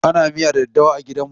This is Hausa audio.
Ana miya da daddawa a gidanmu.